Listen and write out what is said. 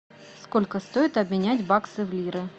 сколько стоит обменять баксы в лиры